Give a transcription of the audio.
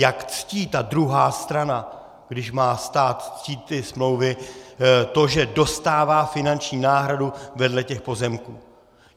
Jak ctí ta druhá strana, když má stát ctít ty smlouvy, to, že dostává finanční náhradu vedle těch pozemků?